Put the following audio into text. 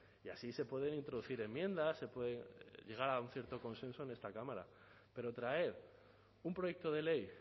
y así se pueden introducir enmiendas se puede llegar a un cierto consenso en esta cámara pero traer un proyecto de ley